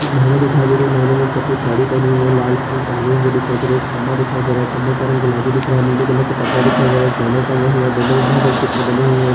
एक महिला दिखाई दे रही है महिला ने सफ़ेद साड़ी पहनी हुई है लाल फूल टांगे हुए दिखाई दे रहै है एक खम्बा दिखाई दे रहा है खम्बे का रंग गुलाबी दिख रहा है नीले कलर का परदा दिखाई दे रहा है एक बैनर टंगा हुआ है बैनर में बहोत सारे चित्र बने हुए --